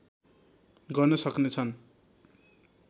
गर्न सक्ने छन्